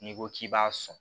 N'i ko k'i b'a sɔn